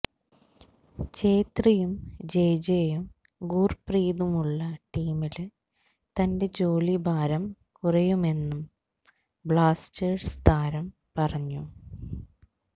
ഛേത്രിയും ജെജെയും ഗുര്പ്രീതുമുള്ള ടീമില് തന്റെ ജോലിഭാരം കുറയുമെന്നും ബ്ലാസ്റ്റേഴ്സ് താരം പറഞ്ഞു